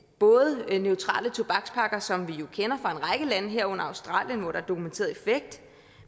både neutrale tobakspakker som vi jo kender fra en række lande herunder australien hvor der er dokumenteret effekt